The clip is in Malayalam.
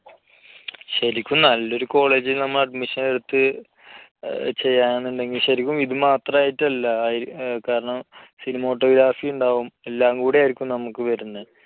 ശരിക്കും നല്ല ഒരു college ൽ നമ്മൾ admission എടുത്ത് ചെയ്യണമെന്നുണ്ടെങ്കിൽ ശരിക്കും ഇത് മാത്രമായിട്ടല്ല. അതിൽ കാരണം, cinematography ഉണ്ടാകും. എല്ലാം കൂടെ ആയിരിക്കും നമുക്ക് വരുന്നത്.